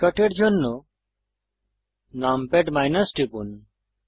শর্টকাটের জন্য নামপ্যাড টিপুন